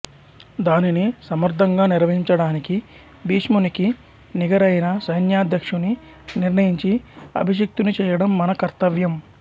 దానిని సమర్ధంగా నిర్వహించడానికి భీష్మునికి నిగరైన సైన్యాద్యక్ష్యుని నిర్ణయించి అభిషిక్తుని చెయ్యడం మన కర్తవ్యం